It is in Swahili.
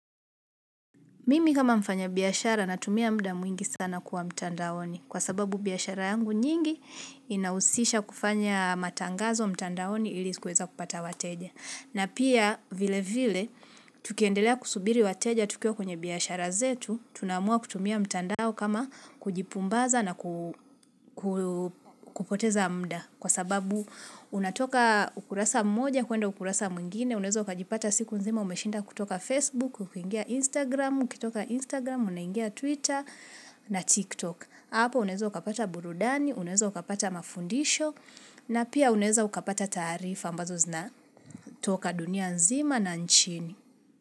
Mimi kama mfanyabiashara natumia muda mwingi sana kuwa mtandaoni. Kwa sababu biashara yangu nyingi inahusisha kufanya matangazo mtandaoni ili kuweza kupata wateja. Na pia vile vile, tukiendelea kusubiri wateja tukiwa kwenye biashara zetu, tunaamua kutumia mtandao kama kujipumbaza na kupoteza muda. Kwa sababu unatoka ukurasa mmoja, kuenda ukurasa mwingine, unaeza ukajipata siku nzima umeshinda kutoka Facebook, ukiingia Instagram, kutoka Instagram, unaingia Twitter na TikTok. Hapo unezo ukapata burudani, unaeza ukapata mafundisho na pia unaeza ukapata taarifa ambazo zinatoka dunia nzima na nchini.